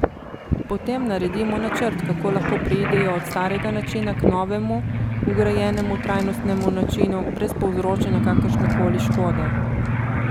Potem naredimo načrt, kako lahko preidejo od starega načina k novemu vgrajenemu trajnostnemu načinu brez povzročanja kakršnekoli škode.